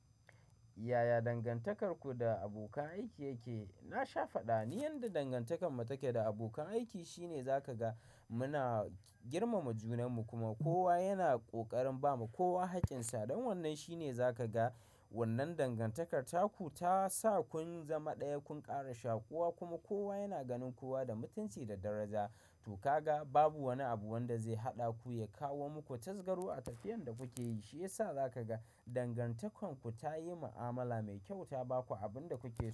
Yaya dangantakarku da abokan aiki yake? Na sha faɗa, ni yanda dangantakarmu take da abokan aiki shine zaka ga muna girmama junanmu kuma kowa yana ƙoƙarin bamu kowa haƙƙinsa. Don wannan shine za ka ga wannan dangantakarka ku ta sa kun zama ɗaya, kun ƙara shaƙuwa kuma kowa yana ganin kowa da mutunci da daraja. To ka ga babu wani abu wanda zai haɗa ku ya kawo muku tasgaro a tafiyan da kuke yi. Shi ya sa za ka ga dangantakarku ta yi ma'amala mai kyau ta ba ku abin da kuke so.